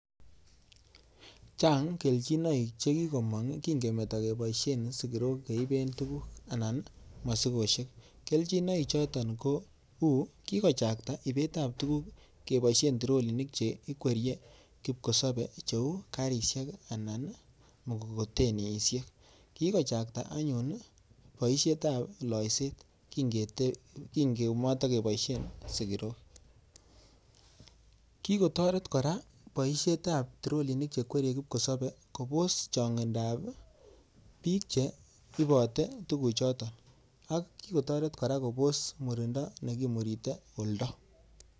Chang kerchinoik chekikomong kin kemeto keiboishen sigirok keiben tukuk aln masikoshek kelkinok choton ko kikochakta ibinet tab tuguk keiboishen trolinik Che ikwerie kipkosabe cheu karishek Alan mugokotenishek kikochakta ayun boishet tab loiset kinkemotokeboisen sigirok kikotaret kora boishet tab kite kipkosabe kobos chongindab bik Che ibote tuguk choton ak kikotaret kora Kobo's murindo nekimurite oldo.